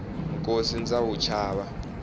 nkosi ndza wu chava